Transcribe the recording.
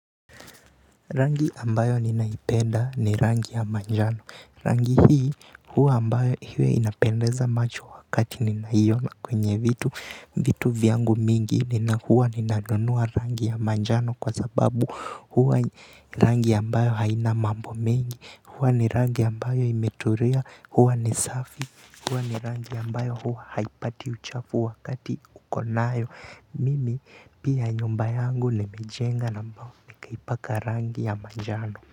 Rangi ambayo ninaipenda ni rangi ya majano rangi hii huwa ambayo huwa inapendeza macho wakati ninaiona kwenye vitu vyangu mingi, huwa ninanunua rangi ya majano kwa sababu huwa rangi ambayo haina mambo mingi huwa ni rangi ambayo imetulia huwa ni safi huwa ni rangi ambayo huwa haipati uchafu wakati uko nayo mimi pia nyumba yangu nilijenga na nikaipaka rangi ya majano.